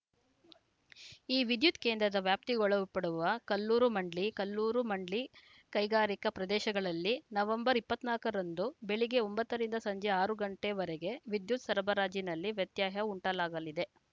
ಈ ವಿದ್ಯುತ್‌ ಕೇಂದ್ರದ ವ್ಯಾಪ್ತಿಗೊಳಪಡುವ ಕಲ್ಲೂರು ಮಂಡ್ಲಿ ಕಲ್ಲೂರು ಮಂಡ್ಲಿ ಕೈಗಾರಿಕಾ ಪ್ರದೇಶಗಳಲ್ಲಿ ನವೆಂಬರ್ ಇಪ್ಪತ್ತ್ ನಾಕರಂದು ಬೆಳಗ್ಗೆ ಒಂಬತ್ತರಿಂದ ಸಂಜೆ ಆರು ಗಂಟೆವರೆಗೆ ವಿದ್ಯುತ್‌ ಸರಬರಾಜಿನಲ್ಲಿ ವ್ಯತ್ಯಯ ಉಂಟಾಗಲಿದೆ